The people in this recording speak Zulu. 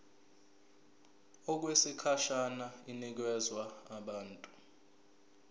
okwesikhashana inikezwa abantu